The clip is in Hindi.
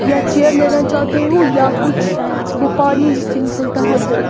यह चेयर लेना चाहते हो या कुछ वो पानी जिससे निकलता है वो।